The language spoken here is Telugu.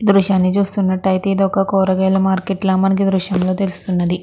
ఈ దృశ్యాన్ని చూస్తున్నట్లైతే ఇది ఒక కూరగాయల మార్కెట్ లాగా ఈ దృశ్యం లో తెలుస్తున్నది.